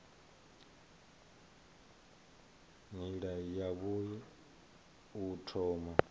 nila yavhui ya u thoma